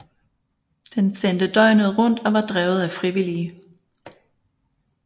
Den sendte døgnet rundt og var drevet af frivillige